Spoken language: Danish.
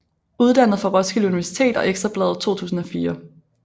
Uddannet fra Roskilde Universitet og Ekstra Bladet 2004